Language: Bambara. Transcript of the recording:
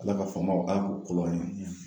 Ala ka faamaw Ala k'u kolo an ye